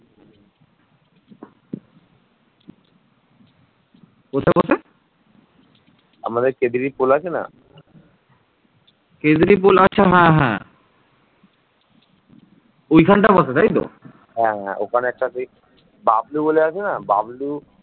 স্থায়ী প্রশাসন না থাকাতে বাহুবলই ছিল শেষ কথা